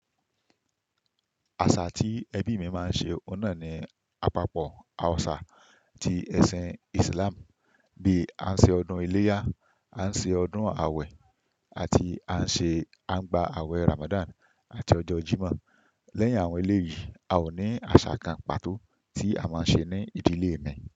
Àṣà tí ẹbí mi máa ń ṣe oun ná ni àpapọ àwọ̀ṣà ti ẹ̀sìn Islam. Bí a ṣe ọdún iléyá, à ṣe ọdún awẹ, àti a ṣe, a ń gba awẹ Ramadan àti ọjọ́ Jímọ̀. Lẹ́yìn àwọn eléyìí, a ò ní àṣà kan pàtó tí a máa ń ṣe ní ìdílé mi.